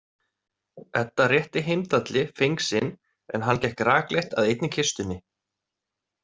Edda rétti Heimdalli feng sinn en hann gekk rakleitt að einni kistunni.